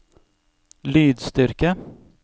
lydstyrke